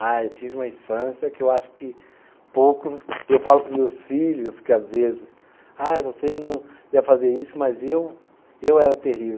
Ah, eu tive uma infância que eu acho que poucos. Eu falo para os meus filhos que às vezes. Ah, vocês não deve fazer isso, mas eu eu era terrível.